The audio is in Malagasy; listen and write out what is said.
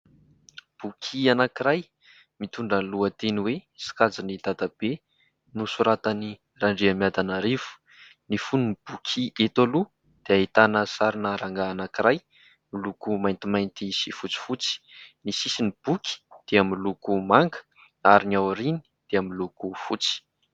Boky anankiray mitondra ny lohateny hoe :« Sikajin'i dadabe », nosoratan-dRandriamiadanarivo. Ny fonon'ny boky eto aloha dia ahitana sary rangahy anankiray miloko maintimainty sy fotsifotsy, ny sisin'ny boky dia miloko manga ary ny ao aoriany dia miloko fotsy.